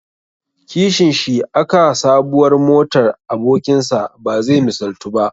Kishinshi aka sabuwar motar abokinsa bazai misaltu ba.